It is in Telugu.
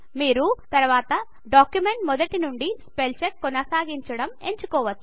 మీరు తర్వాత డాక్యుమెంట్ మొదటి నుండి స్పెల్ చెక్ కొనసాగించడం ఎంచుకోవచ్చు